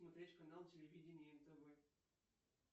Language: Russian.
смотреть канал телевидения нтв